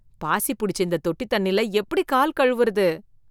பாசி புடிச்ச இந்த தொட்டி தண்ணில எப்படி கால் கழுவுறது?